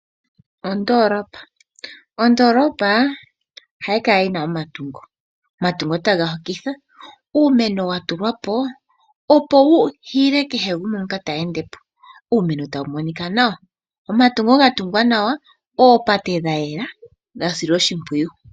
Ondoolopa, ondoolopa ohayi kala yina omatungo. Omatungo taga hokitha ,uumeno wa tulwapo opo wu hile kehe gumwe ngoka te endepo. Uumeno tawu monika nawa, omatunga ga tungwa nawa, oopate dha yela dha silwa oshipwiyu.